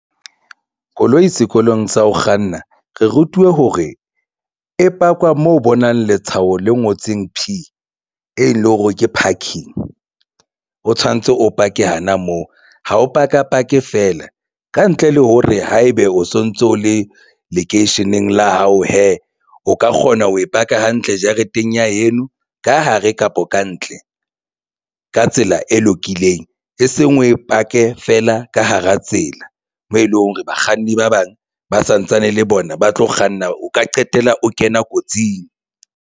Koloi sekolong sa ho kganna re rutuwe hore e pakwa mo bonang letshwao le ngotseng P e leng hore ke parking. O tshwanetse o pake hana moo ha o paka pake feela kantle le hore haebe o sontso o le lekeisheneng la hao hee o ka kgona ho e paka hantle jareteng ya heno ka hare kapo kantle ka tsela e lokileng, e seng oe pake feela ka hara tsela mo e leng hore bakganni ba bang ba santsane le bona ba tlo kganna o ka qetella o kena kotsing.